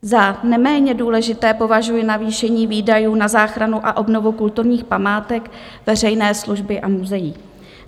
Za neméně důležité považuji navýšení výdajů na záchranu a obnovu kulturních památek veřejné služby a muzeí.